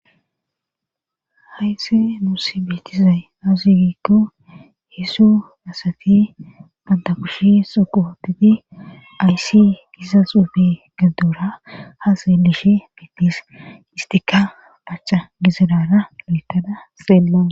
haysse nuus beetizay aasugikko hesu asati banta kushi suquhotiti ayssi giza xuufe gaduora ha seelishe bittis istika pacha gizirara lo7tada seelma